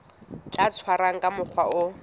tla tshwarwa ka mokgwa o